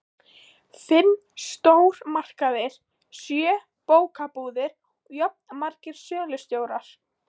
Fimm stórmarkaðir, sjö bókabúðir og jafnmargir sölustjórar.